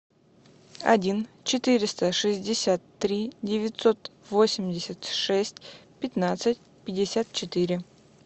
один четыреста шестьдесят три девятьсот восемьдесят шесть пятнадцать пятьдесят четыре